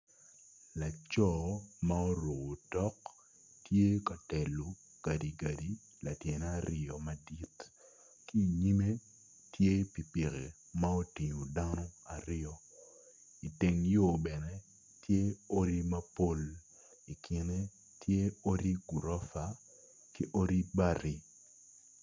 Laco ma oruko otok tye ka telo gadi gadi latyene aryo madit ki inyime tye pikipiki ma otingo dano aryo iteng yo bene tye odi mapol i kine tye odi gurofa ki odi bati.